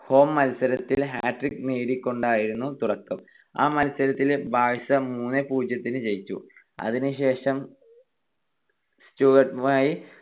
Home മത്സരത്തിൽ hat trick നേടിക്കൊണ്ടായിരുന്നു തുടക്കം. ആ മത്സരത്തിൽ ബാഴ്സ മൂന്ന് - പൂജ്യത്തിന് ജയിച്ചു. അതിനുശേഷം സ്റ്റുട്ട്ഗർട്ടുമായി